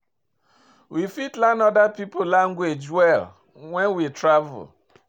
We fit learn oda pipo language well when we travel